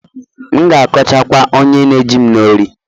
M'gākọcha kwa onye nējim n'ori